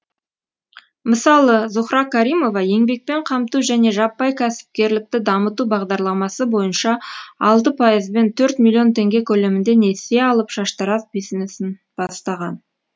мысалы зухра каримова еңбекпен қамту және жаппай кәсіпкерлікті дамыту бағдарламасы бойынша алты пайызбен төрт миллион теңге көлемінде несие алып шаштараз бизнесін бастаған